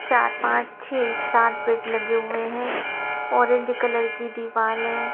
चार पाँच छ सात बेड लगे हुए हैं ऑरेंज कलर की दीवार है।